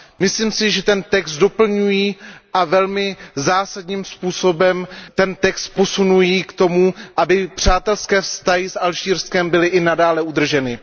Myslím si, že ten text doplňují a velmi zásadním způsobem ten text posunují k tomu, aby přátelské vztahy s Alžírskem byly i nadále udrženy.